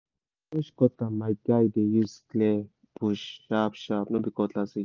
na bush cutter my my guy dey use clear bush sharp sharp no be cutlass again